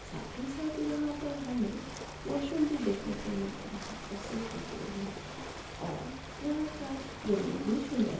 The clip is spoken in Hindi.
साथ ही साथ यहा पर हमे वॉशरूम भी देखने को मिलता है और यहा का जमीन भी सुंदर--